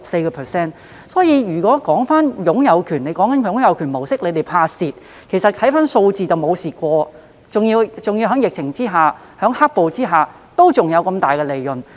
政府說害怕港鐵公司會在"擁有權"模式下出現虧蝕，但從數字所見是從來沒有虧蝕，而且在疫情及"黑暴"下還有很大的利潤。